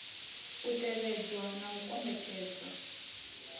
a tevhedzwa na u kombetshedzwa